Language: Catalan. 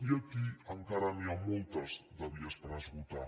i aquí encara n’hi ha moltes de vies per esgotar